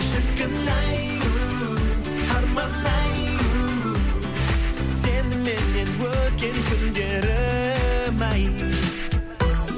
шіркін ай у арман ай у сеніменен өткен күндерім ай